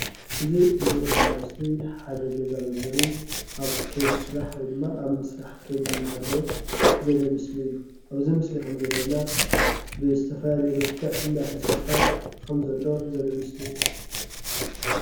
እዚ ንሪኦ ዘለና ምስሊ ሓደ ገዛ መንበሪ ኣብ ከይዲ ስራሕ ወይድማ ኣብ ምስራሕ ከይዲ እናሃለወ ዘርኢ ምስሊ እዩ፡፡ ኣብዚ ምስሊ ከም ዘሪአና ብዝተፈላለየ መልዕክ እንዳ ተሰርሐ ከም ዘሎ ዘርኢ ምስሊ እዩ ፡፡